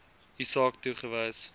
u saak toegewys